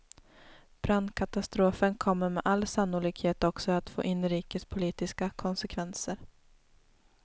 Brandkatastrofen kommer med all sannolikhet också att få inrikespolitiska konsekvenser.